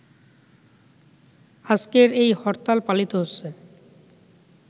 আজকের এই হরতাল পালিত হচ্ছে